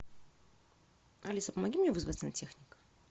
алиса помоги мне вызвать сантехника